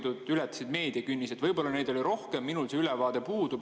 Võib-olla neid oli rohkem, minul see ülevaade puudub.